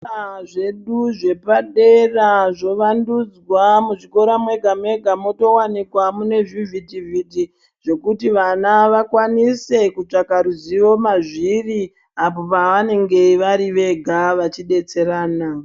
Muzvikora zvedu zvepadera movandudzwa muzvikora mega mega motowanika zvivhitivhiti zvekuti vana vakwanise kutsvaka ruzivo mazviri apo pavenenge vari vega vachidetserana.